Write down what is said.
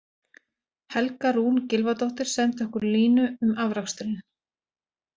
Helga Rún Gylfadóttir sendi okkur línu um afraksturinn: